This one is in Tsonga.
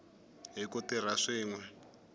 hi ku tirha swin we